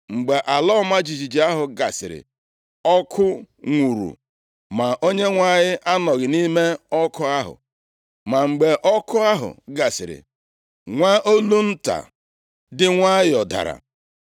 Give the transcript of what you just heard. Mgbe ala ọma jijiji ahụ gasịrị, ọkụ nwuuru, ma Onyenwe anyị anọghị nʼime ọkụ ahụ. Ma mgbe ọkụ ahụ gasịrị, nwa olu nta dị nwayọọ dara.